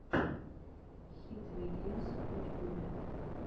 хид вэйгеймс в ютьюбе